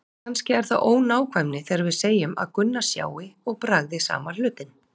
Kannski er það ónákvæmni þegar við segjum að Gunna sjái og bragði sama hlutinn.